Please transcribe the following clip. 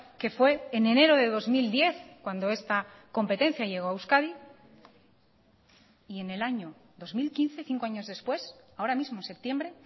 que fue en enero de dos mil diez cuando esta competencia llegó a euskadi y en el año dos mil quince cinco años después ahora mismo en septiembre